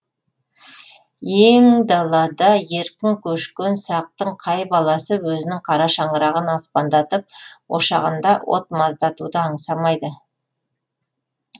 ең далада еркін көшкен сақтың қай баласы өзінің қара шаңырағын аспандатып ошағында от маздатуды аңсамайды